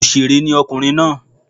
Òsèré ni ọkùnrin náà